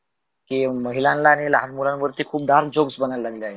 की महिलानला आनी लहान मुलावर्ती खुप धाम jokes बनवणे लगलाथ.